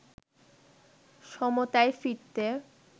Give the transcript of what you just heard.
সমতায় ফিরতে